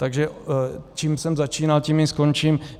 Takže čím jsem začínal, tím i skončím.